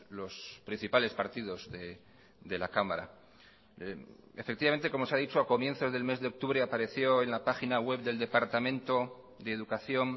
los principales partidos de la cámara efectivamente como se ha dicho a comienzos del mes de octubre apareció en la página web del departamento de educación